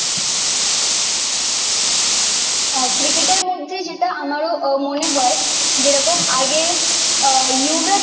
আহ ক্রিকেটের মধ্যে যেটা আমারও মনে হয় যেরকম আগে আহ যুবরাজ